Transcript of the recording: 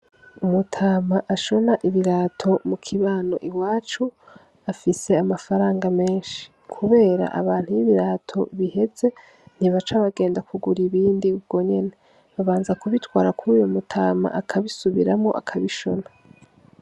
Umutama ashona ibirato mu kibano iwacu afise amafaranga menshi kubera abantu iyo ibirato biheze ntibaca bagenda kugura ibindi ubwo nyene babanza kubitwara kuri uyo mutama akabisubiramwo akabishona.